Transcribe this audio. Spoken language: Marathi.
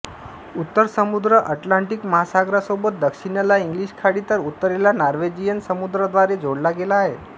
उत्तर समुद्र अटलांटिक महासागरासोबत दक्षिणेला इंग्लिश खाडी तर उत्तरेला नॉर्वेजियन समुद्राद्वारे जोडला गेला आहे